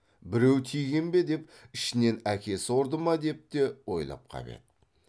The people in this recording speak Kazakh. біреу тиген бе деп ішінен әкесі ұрды ма деп те ойлап қап еді